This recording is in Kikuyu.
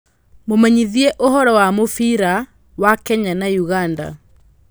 mũmenyithie ũhoro wa mũbira wa Kenya na Uganda